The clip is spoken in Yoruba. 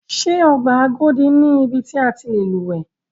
Ṣé ọgbà Agodi ni ibi ti a ti lè lúwẹ̀ẹ́.